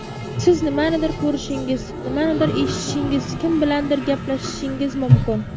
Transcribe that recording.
Siz nimanidir ko‘rishingiz, nimanidir eshitishingiz, kim bilandir gaplashishingiz mumkin.